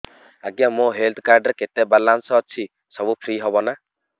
ଆଜ୍ଞା ମୋ health card ରେ କେତେ ବାଲାନ୍ସ ଅଛି ସବୁ ଫ୍ରି ହବ ନାଁ